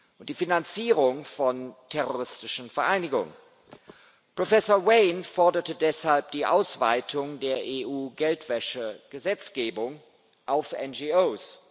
und die Finanzierung von terroristischen Vereinigungen. Professor Wain forderte deshalb die Ausweitung der EU-Geldwäschegesetzgebung auf NGOs.